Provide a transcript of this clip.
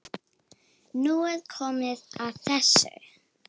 Nú er komið að þessu.